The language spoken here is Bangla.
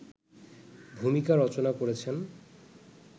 ভুমিকা রচনা করেছেন